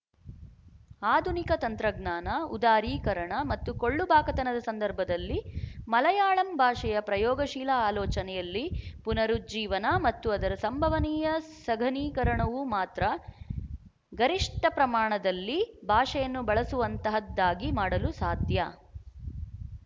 ಆಧುನಿಕ ತಂತ್ರಜ್ಞಾನ ಉದಾರೀಕರಣ ಮತ್ತು ಕೊಳ್ಳುಬಾಕತನದ ಸಂದರ್ಭದಲ್ಲಿ ಮಲಯಾಳಂ ಭಾಷೆಯ ಪ್ರಯೋಗಶೀಲ ಆಲೋಚನೆಯಲ್ಲಿ ಪುನರುಜ್ಜೀವನ ಮತ್ತು ಅದರ ಸಂಭವನೀಯ ಸಘನೀಕರಣವು ಮಾತ್ರ ಗರಿಶ್ಠ ಪ್ರಮಾಣದಲ್ಲಿ ಭಾಷೆಯನ್ನು ಬಳಸುವಂತಹದ್ದಾಗಿ ಮಾಡಲು ಸಾಧ್ಯ